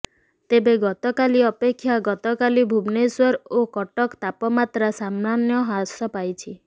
ତେବେ ଗତକାଲି ଅପେକ୍ଷା ଗତକାଲି ଭୁବନେଶ୍ବର ଓ କଟକ ତାପମାତ୍ରା ସାମାନ୍ୟ ହ୍ରାସ ପାଇଛି